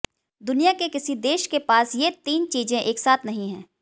दुनिया के किसी देश के पास ये तीन चीजें एक साथ नहीं हैं